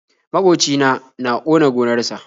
maƙocina. na ƙona gonar sa.